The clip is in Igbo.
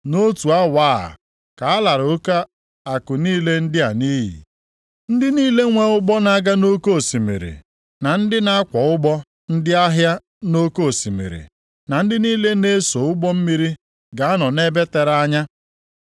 Nʼotu awa a ka a lara oke akụ niile ndị a nʼiyi.’ “Ndị niile nwee ụgbọ na-aga nʼoke osimiri, na ndị na-akwọ ụgbọ ndị ahịa nʼoke osimiri, na ndị niile na-eso ụgbọ mmiri ga-anọ nʼebe tere anya,